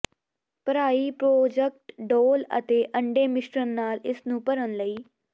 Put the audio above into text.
ਭਰਾਈ ਪ੍ਰੋਜਕਟ ਡੋਲ੍ਹ ਅਤੇ ਅੰਡੇ ਮਿਸ਼ਰਣ ਨਾਲ ਇਸ ਨੂੰ ਭਰਨ ਲਈ